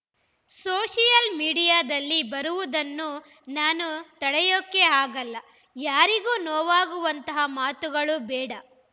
social ಮೀಡಿಯಾದಲ್ಲಿ ಬರುವುದನ್ನು ನಾನು ತಡೆಯೋಕೆ ಆಗೋಲ್ಲ ಯಾರಿಗೂ ನೋವಾಗುವಂತಹ ಮಾತುಗಳು ಬೇಡ